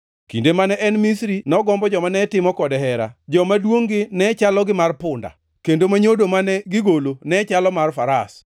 Kinde mane en Misri nogombo joma ne timo kode hera, joma duongʼ-gi ne chalo gi mar punda, kendo ma nyodo mane gigolo ne chalo mar faras.